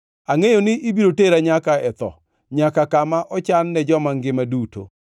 Angʼeyo ni ibiro tera nyaka e tho, nyaka kama ochan ne joma ngima duto.